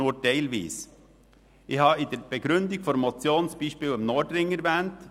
Ich habe in der Begründung zur Motion das Beispiel im Nordring erwähnt.